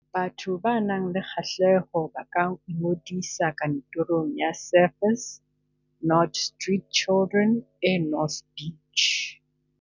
Batho ba nang le kgahleho ba ka ingodisa kantorong ya Surfers Not Street Children e North Beach.